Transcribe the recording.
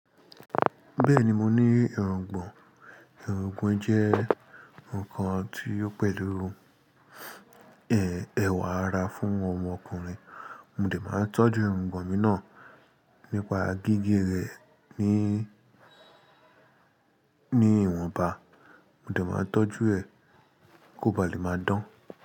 Bẹ́ẹ̀ni, mo ní èróńgbon. Èrungbon jẹ́ nǹkan tí ó pẹ̀lú, ẹ, ẹwà ara fún ọmọkùnrin. Mo dè máa tọ́jú èrungbon mi náà nípa gígé rẹ̀ ní ìwọ̀nba. Mo dè máa tọ́jú ẹ kó ba lè máa dán.